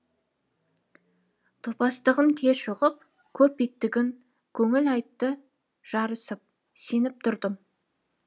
топастығын кеш ұғып көп иттігін көңіл айтты жарысып сеніп тұрдым